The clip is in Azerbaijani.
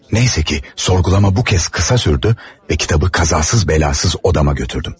Neyse ki, sorğulama bu kəs qısa sürdü və kitabı qazasız-bəlasız otağıma götürdüm.